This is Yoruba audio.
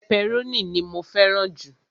pẹpẹrónì ni mó fẹràn ju